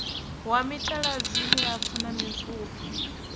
wa mitaladzi milapfu na mipfufhi